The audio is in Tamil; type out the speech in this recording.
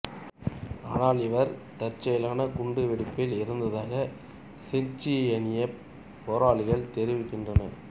ஆனால் இவர் தற்செயலான குண்டுவெடிப்பில் இறந்ததாக செச்சினியப் போராளிகள் தெரிவிக்கின்றனர்